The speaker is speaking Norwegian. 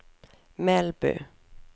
Melbu